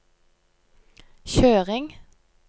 kjøring